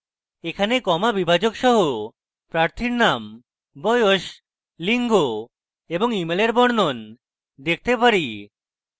এখানে comma বিভাজক সহ প্রার্থীর name বয়স লিঙ্গ এবং ইমেলের বর্ণন দেখতে পারি